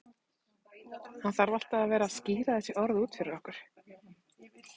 Hann þarf alltaf að vera að skýra þessi orð út fyrir okkur.